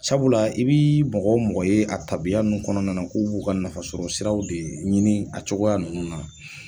Sabula i bii mɔgɔ mɔgɔ ye a tabiya ninnu kɔnɔna na k'u b'u ka nafa sɔrɔ siraw de ɲini a cogoya nunnu na